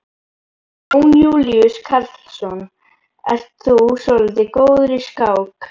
Jón Júlíus Karlsson: Ert þú svolítið góður í skák?